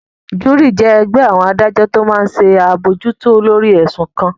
Júúrì jẹ́ ẹgbẹ́ àwọn adájọ́ tó máa n ṣe àbojútó lórí ẹ̀sùn kan